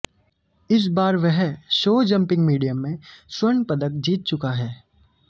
इस बार वह शो जम्पिंग मीडियम में स्र्वण पदक जीत चुका है